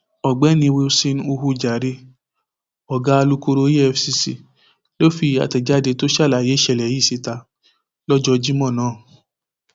ọgbẹni wilson uwu jahre ọgá alukoro efcc ló fi àtẹjáde tó ṣàlàyé ìṣẹlẹ yìí síta lọjọ jimo náà